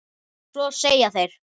Svo segja þeir.